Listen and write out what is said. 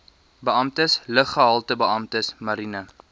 beamptes luggehaltebeamptes mariene